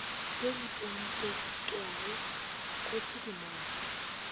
ye e pomipetpwago go sedimopa